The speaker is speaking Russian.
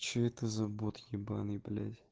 что это за бот ебанный блять